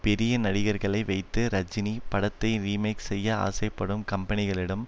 பெரிய நடிகர்களை வைத்து ரஜினி படத்தை ரீமேக் செய்ய ஆசை படும் கம்பெனிகளிடம்